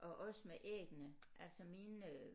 Og også med æggene altså mine øh